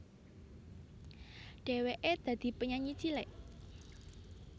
Dhèwèké dadi penyanyi cilik